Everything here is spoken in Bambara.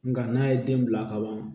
Nga n'a ye den bila ka ban